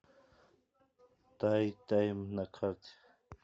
тай тайм на карте